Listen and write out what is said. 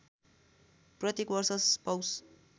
प्रत्येक वर्ष पौष